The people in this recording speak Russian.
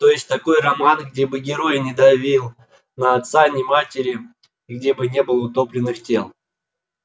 то есть такой роман где бы герой на давил ни отца ни матери где бы не было утопленных тел